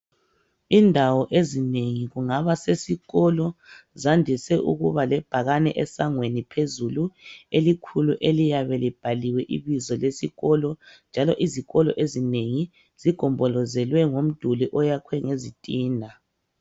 Indawo ezinengi kungaba sesikolo zandise ukuba lebhakani esangweni phezulu elikhulu eliyabe libhaliwe ibizo lesikolo njalo izikolo ezinengi zigombolozelwe ngomduli oyakhwe ngezitina .